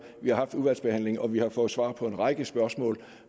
vi har haft udvalgsbehandlingen og vi har fået svar på en række spørgsmål